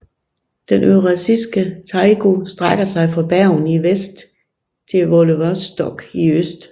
Den eurasiske taiga strækker sig fra Bergen i Vest til Vladivostok i øst